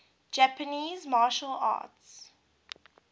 japanese martial arts